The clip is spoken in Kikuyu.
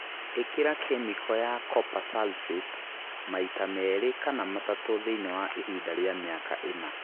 Īkĩra kĩmĩko ya copper sulphate maita merĩ kana matatũ thĩinĩ wa ihinda rĩa mĩaka ĩna